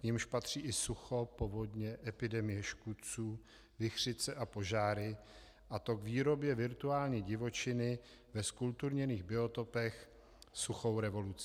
k nimž patří i sucho, povodně, epidemie škůdců, vichřice a požáry, a to k výrobě virtuální divočiny ve zkulturněných biotopech suchou revolucí.